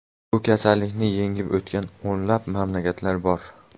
Bu kasallikni yengib o‘tgan o‘nlab mamlakatlar bor.